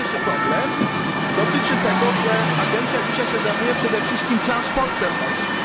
Pierwszy problem dotyczy tego, że agencja zajmuje się dzisiaj przede wszystkim transportem morskim.